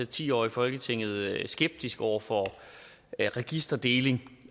ti år i folketinget været skeptisk over for registerdeling